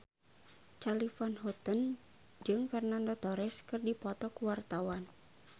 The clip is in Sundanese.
Charly Van Houten jeung Fernando Torres keur dipoto ku wartawan